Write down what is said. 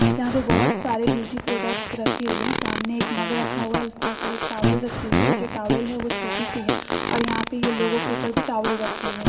यहाँ पर बहुत सारे ब्यूटी प्रोडक्ट्स रखे हुए हैं सामने एक मग रखा हुआ है उसके ऊपर एक टावल रखी हुई है और जो टावल है वो छोटी सी है और यहां पर लोगो के ऊपर भी टावल रखे हुए है।